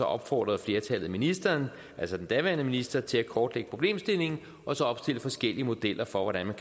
opfordrede flertallet ministeren altså den daværende minister til at kortlægge problemstillingen og så opstille forskellige modeller for hvordan man